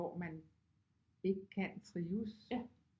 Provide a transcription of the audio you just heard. Hvor man ikke kan trives